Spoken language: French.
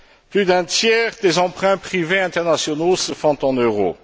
Plus d'un tiers des emprunts privés internationaux se font en euros.